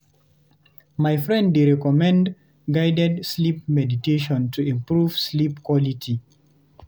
My friend dey recommend guided sleep meditation to improve sleep quality.